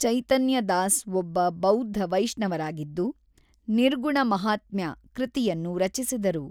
ಚೈತನ್ಯ ದಾಸ್ ಒಬ್ಬ ಬೌದ್ಧ ವೈಷ್ಣವರಾಗಿದ್ದು ನಿರ್ಗುಣ ಮಹಾತ್ಮ್ಯ ಕೃತಿಯನ್ನು ರಚಿಸಿದರು .